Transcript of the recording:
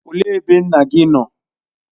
Olee ebe nna gị nọ?